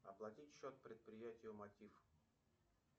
оплатить счет предприятию мотив